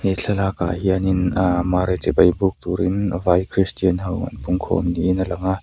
he thlalak ah hianin ah mary chibai buk turin vai christian ho an pungkhawm niin a lang a.